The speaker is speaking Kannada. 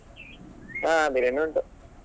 ಹಾ biriyani ಉಂಟು.